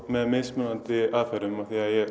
með mismunandi aðferðum